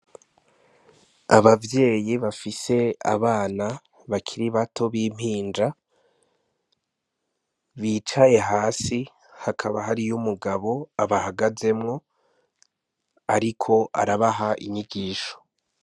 Abavyeyi bafise abana bakiri bato b'impinja bicaye hasi hakaba hariyo umugabo abahagazemwo, ariko arabaha inyigisho.